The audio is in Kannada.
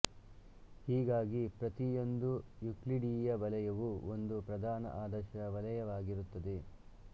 ಹೀಗಾಗಿ ಪ್ರತಿಯೊಂದು ಯೂಕ್ಲಿಡೀಯ ವಲಯವೂ ಒಂದು ಪ್ರಧಾನ ಆದರ್ಶ ವಲಯವಾಗಿರುತ್ತದೆ